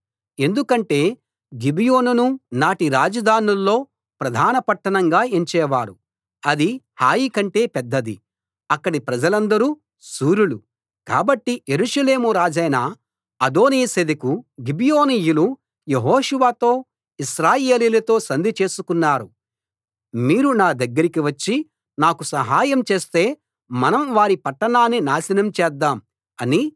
ఎందుకంటే గిబియోనును నాటి రాజధానుల్లో ప్రధాన పట్టణంగా ఎంచేవారు అది హాయి కంటే పెద్దది అక్కడి ప్రజలందరూ శూరులు కాబట్టి యెరూషలేము రాజైన అదోనీసెదెకు గిబియోనీయులు యెహోషువతో ఇశ్రాయేలీయులతో సంధి చేసుకున్నారు మీరు నా దగ్గరికి వచ్చి నాకు సహాయం చేస్తే మనం వారి పట్టణాన్ని నాశనం చేద్దాం అని